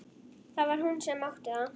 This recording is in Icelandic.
Það var hún sem átti það.